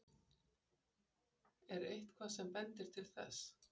Er eitthvað sem bendir til þess?